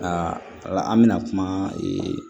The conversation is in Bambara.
Aa an bɛna kuma ee